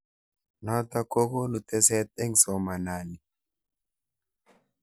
Nitok kokonu teset eng somanani.